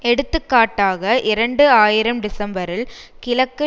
எடுத்துக்காட்டாக இரண்டு ஆயிரம் டிசம்பரில் கிழக்கு